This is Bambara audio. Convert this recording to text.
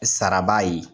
Sara b'a ye